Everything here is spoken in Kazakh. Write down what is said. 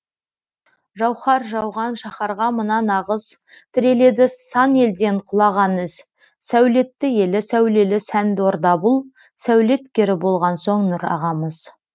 жауһар жауған шаһарға мына нағыз тіреледі сан елден құлаған із сәулетті елі сәулелі сәнді орда бұл сәулеткері болған соң нұрағамыз